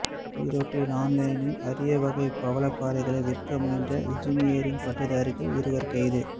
ஈரோட்டில் ஆன்லைனில் அரிய வகை பவளப்பாறைகளை விற்க முயன்ற இன்ஜினியரிங் பட்டதாரிகள் இருவர் கைது